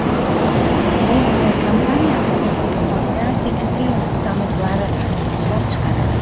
Belgiya kompaniyasi O‘zbekistonda tekstil stanoklari ishlab chiqaradi.